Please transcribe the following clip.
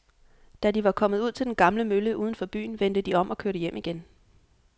Da de var kommet ud til den gamle mølle uden for byen, vendte de om og kørte hjem igen.